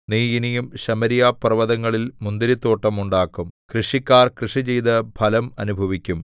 നീ ഇനിയും ശമര്യപർവ്വതങ്ങളിൽ മുന്തിരിത്തോട്ടം ഉണ്ടാക്കും കൃഷിക്കാർ കൃഷിചെയ്ത് ഫലം അനുഭവിക്കും